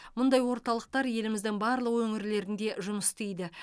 мұндай орталықтар еліміздің барлық өңірлерінде жұмыс істейді